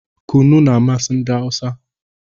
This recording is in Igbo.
Kunu na-amasị ndị Hausa